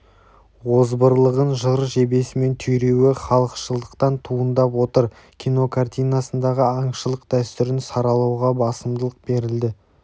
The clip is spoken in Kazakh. озбырлығын жыр жебесімен түйреуі халықшылдықтан туындап отыр кинокартинасындағы аңшылық дәстүрін саралауға басымдылық берілді